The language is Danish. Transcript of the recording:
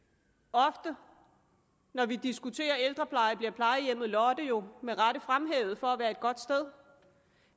ofte når vi diskuterer ældrepleje bliver plejehjemmet lotte jo med rette fremhævet for at være et godt sted